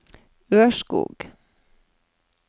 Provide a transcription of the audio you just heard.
Ørskog